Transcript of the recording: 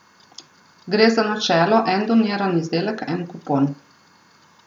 Gre za načelo en doniran izdelek, en kupon.